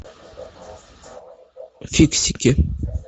фиксики